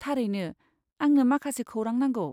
थारैनो, आंनो माखासे खौरां नांगौ।